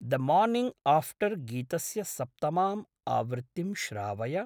The morning after गीतस्य सप्तमाम् आवृत्तिं श्रावय।